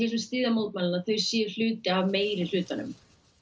sem styðja mótmælin séu hluti af meirihlutanum